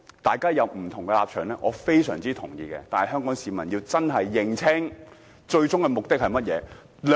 大家有不同的立場，我非常同意，但香港市民真的要認清他們最終的目的是甚麼。